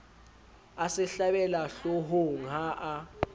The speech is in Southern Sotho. a se hlabela hloohongha a